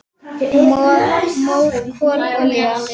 Mór, kol, olía